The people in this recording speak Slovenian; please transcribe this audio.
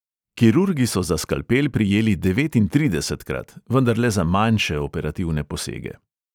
Kirurgi so za skalpel prijeli devetintridesetkrat, vendar le za manjše operativne posege.